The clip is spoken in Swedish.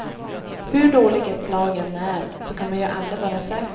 Hur dåligt ett lag än är, så kan man ju aldrig vara säker.